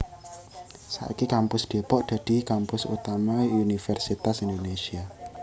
Saiki Kampus Depok dadi kampus utama Universitas Indonésia